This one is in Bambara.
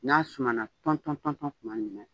N'a sumana panpan pan tuma min na